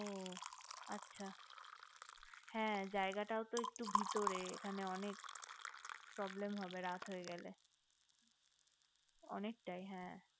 হু আচ্ছা হে জায়গাটাও তো একটুক ভিতরে এখানে অনেক problem হবে রাত হয়ে গেলে অনেকটাই হে